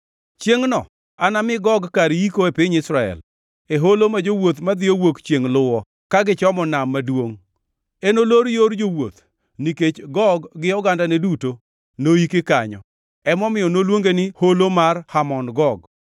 “ ‘Chiengʼno anami Gog kar yiko e piny Israel, e holo ma jowuoth madhiyo wuok chiengʼ luwo ka gichomo Nam Maduongʼ. + 39:11 Nam Maduongʼ Tiende ni Nam Kado. Enolor yor jowuoth, nikech Gog gi ogandane duto noiki kanyo. Omiyo noluonge ni Holo mar Hamon Gog.